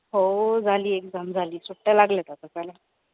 हो झाली exam झाली, सुट्ट्या लागल्यात आता.